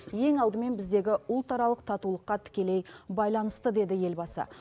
ең алдымен біздегі ұлтаралық татулыққа тікелей байланысты деді елбасы